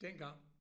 Dengang